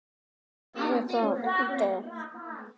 Nei sagði Ólafur.